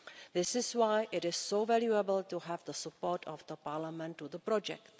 This is why it is so valuable to have the support of Parliament for the project.